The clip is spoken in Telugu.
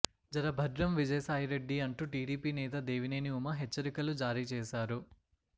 జర భద్రం విజయసాయిరెడ్డీ అంటూ టీడీపీ నేత దేవినేని ఉమ హెచ్చరికలు జారీ చేశారు